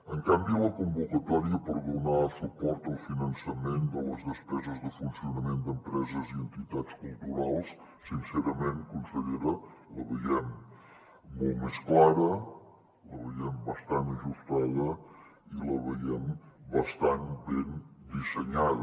en canvi la convocatòria per donar suport al finançament de les despeses de funcionament d’empreses i entitats culturals sincerament consellera la veiem molt més clara la veiem bastant ajustada i la veiem bastant ben dissenyada